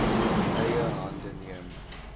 eie hande neem